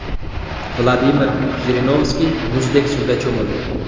Vladimir Jirinovskiy muzdek suvda cho‘mildi.